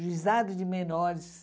Juizado de menores.